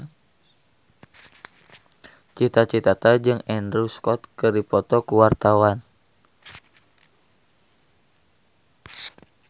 Cita Citata jeung Andrew Scott keur dipoto ku wartawan